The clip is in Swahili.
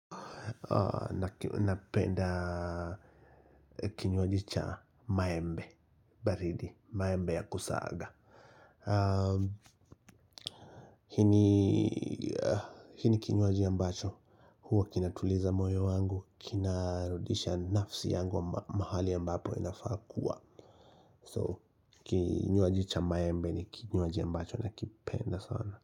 Na penda kinywaji cha maembe baridi maembe ya kusaga hii ni kinywaji ambacho huwa kinatuliza moyo wangu kina rudisha nafsi yangu ma mahali ambapo inafaa kua. So kinywaji cha maembe ni kinywaji ambacho na kipenda sana.